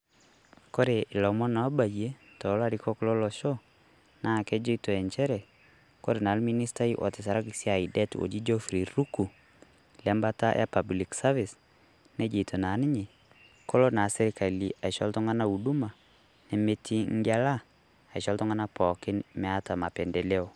Kore ilomon oobayie to larikok lo losho naa kejeitoo encheere kore naa ilministai otisiraki deet oji Jeoffry Ruku le baata e public service neijotoo naa ninye koloo naa sirikali aishoo uduma nemeeti ng'elaa ashoo ltung'anak pooki meeta mapendeleo.